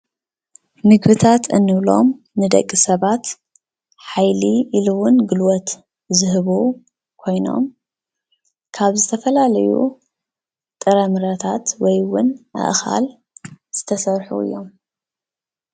ምግብታት እንብሎም ንደቂ ሰባት ሓይሊ ኢሉ እውን ጉልበት ዝህቡ ኮይኖም ካብ ዝተፈላለዩ ጥራምረታት ወይ እውን ኣእካል ዝተሰርሑ እዮም፡፡